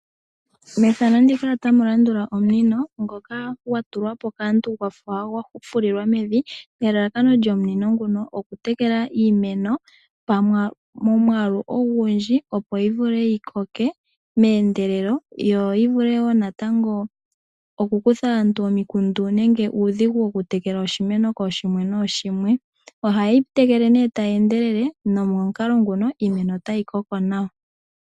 Mefano ndika otamu landula omunino ngoka gwa tulwa po kaantu gwafa gwa fulilwa mevi. Nelalakano lyomunino nguno oku tekela iimeno momwaalu ongundji opo yi vule yikoke meendelelo yo yi vule wo natango oku kutha aantu omiikundu nenge uudhigu woku tekela oshimeno kooshimwe kooshimwe. Ohayi tekele nee tayi endelele. Nomomukalo nguno iimeno otayi koko nawa.